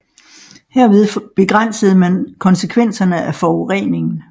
Herved begrænsede man konsekvenserne af forureningen